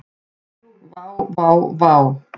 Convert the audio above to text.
Vá vá vá.